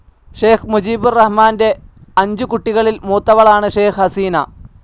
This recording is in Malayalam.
ഷെയ്ഖ്‌ മുജീബുർ റഹ്മാന്റെ അഞ്ചു കുട്ടികളിൽ മൂത്തവളാണ് ഷെയ്ഖ്‌ ഹസീന.